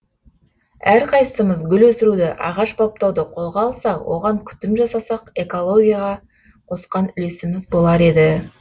әрқайсысымыз гүл өсіруді ағаш баптауды қолға алсақ оған күтім жасасақ экологияға қосқан үлесіміз болар еді